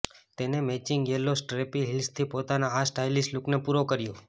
તેને matching yellow strappy હિલ્સથી પોતાના આ સ્ટાઈલીશ લૂકને પૂરો કર્યો